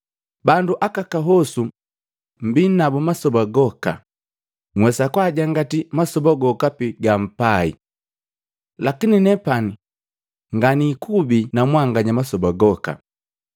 Bandu akahosu mmbii nabu masoba goka, nhwesa kwaajangati masoba gokapi gampai. Lakini nepani nganiikubi na mwanganya masoba goka.